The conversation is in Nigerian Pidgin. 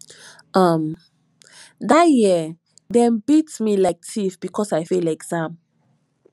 um dat year dem beat me like tiff because i fail exam